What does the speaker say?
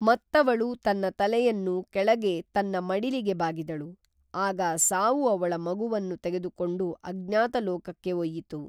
ಮತ್ತವಳು ತನ್ನ ತಲೆಯನ್ನು ಕೆಳಗೆ ತನ್ನ ಮಡಿಲಿಗೆ ಬಾಗಿದಳು. ಆಗ ಸಾವು ಅವಳ ಮಗುವನ್ನು ತೆಗೆದುಕೊಂಡು ಅಙ್ಞಾತ ಲೋಕಕ್ಕೆ ಒಯ್ಯಿತು.